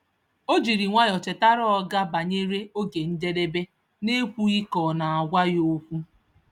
Ọ jiri nwayọọ chetara oga banyere oge njedebe n’ekwughị ka ọ na-agwa ya okwu.